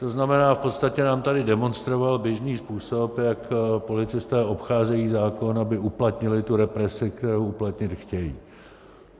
To znamená, v podstatě nám tady demonstroval běžný způsob, jak policisté obcházejí zákon, aby uplatnili tu represi, kterou uplatnit chtějí.